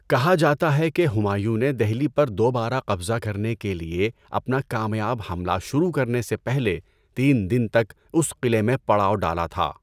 کہا جاتا ہے کہ ہمایوں نے دہلی پر دوبارہ قبضہ کرنے کے لیے اپنا کامیاب حملہ شروع کرنے سے پہلے تین دن تک اس قلعے میں پڑاو ڈالا تھا۔